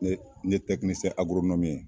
Ne n ye tɛkinicɛn agoronɔmi ye